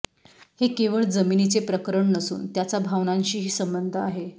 हे केवळ जमिनीचे प्रकरण नसून त्याचा भावनांशीही संबंध आहे